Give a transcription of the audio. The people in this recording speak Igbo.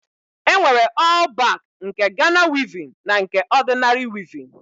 E nwere ọl bak nke Gana wivin na nke ọdịnari wivin.